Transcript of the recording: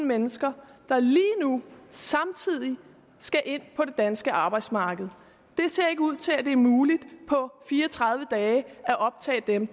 mennesker der lige nu samtidig skal ind på det danske arbejdsmarked det ser ikke ud til at det er muligt på fire og tredive dage at optage dem